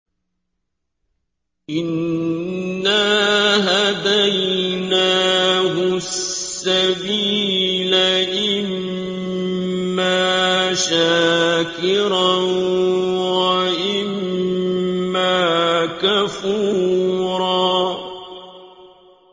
إِنَّا هَدَيْنَاهُ السَّبِيلَ إِمَّا شَاكِرًا وَإِمَّا كَفُورًا